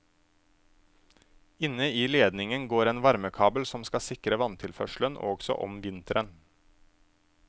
Inne i ledningen går en varmekabel som skal sikre vanntilførselen også om vinteren.